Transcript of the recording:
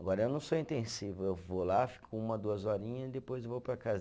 Agora eu não sou intensivo, eu vou lá, fico uma, duas horinha e depois vou para casa.